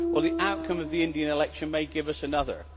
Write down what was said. The outcome of the Indian election may give us another.